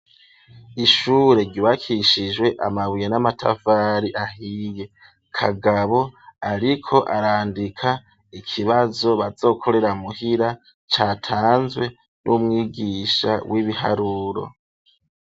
Ishure ryubakishijwe amabuye n'amatafari ahiye, Kagabo ariko arandika ikibazo bazokorera muhira catanzwe n'umwigisha w'ibiharuro.